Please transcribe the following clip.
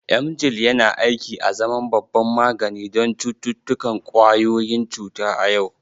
Emgyl yana aiki azaman babban magani don cututtukan ƙwayoyin cuta a yau.